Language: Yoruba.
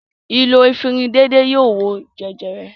Ìlò efirin déédéé yóò wo jẹjẹrẹ.